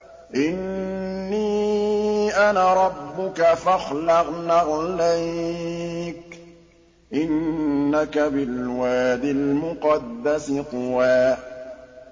إِنِّي أَنَا رَبُّكَ فَاخْلَعْ نَعْلَيْكَ ۖ إِنَّكَ بِالْوَادِ الْمُقَدَّسِ طُوًى